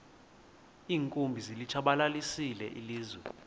iinkumbi zilitshabalalisile ilizwe